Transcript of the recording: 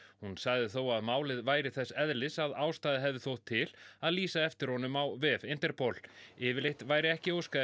hún sagði þó að málið væri þess eðlis að ástæða hefði þótt til að lýsa eftir honum á vef Interpol yfirleitt væri ekki óskað